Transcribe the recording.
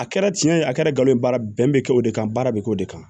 A kɛra tiɲɛ ye a kɛra galon ye baara bɛn bɛ kɛ o de kan baara bɛ kɛ o de kan